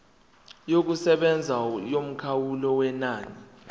yokusebenza yomkhawulo wenani